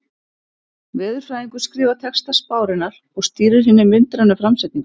Veðurfræðingur skrifar texta spárinnar og stýrir hinni myndrænu framsetningu.